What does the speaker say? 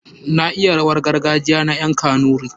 Na iya rawar gargajiya na ƴan kanuri.